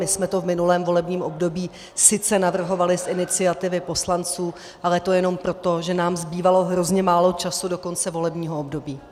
My jsme to v minulém volebním období sice navrhovali z iniciativy poslanců, ale to jenom proto, že nám zbývalo hrozně málo času do konce volebního období.